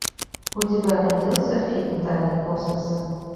у тебя найдется фильм тайны космоса